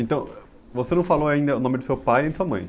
Então, você não falou ainda o nome do seu pai nem da sua mãe.